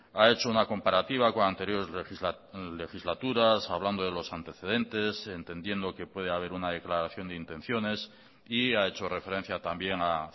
ha hecho una comparativa con anteriores legislaturas hablando de los antecedentes entendiendo que puede haber una declaración de intenciones y ha hecho referencia también a